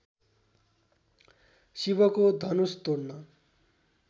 शिवको धनुष तोड्न